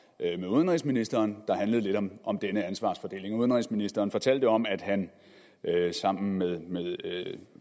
udenrigsministeren der handlede lidt om om denne ansvarsfordeling og udenrigsministeren fortalte om at han sammen med